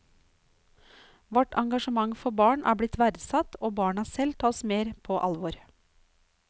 Vårt engasjement for barn er blitt verdsatt og barna selv tas mer på alvor.